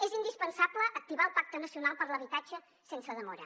és indispensable activar el pacte nacional per a l’habitatge sense demora